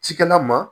Cikɛla ma